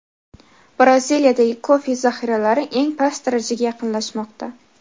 Braziliyadagi kofe zahiralari eng past darajaga yaqinlashmoqda.